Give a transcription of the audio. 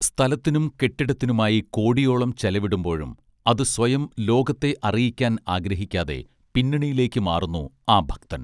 സ്ഥലത്തിനും കെട്ടിടത്തിനുമായി കോടിയോളം ചെലവിടുമ്പോഴും അതു സ്വയം ലോകത്തെ അറിയിക്കാൻ ആഗ്രഹിക്കാതെ പിന്നണിയിലേക്കു മാറുന്നു ആ ഭക്തൻ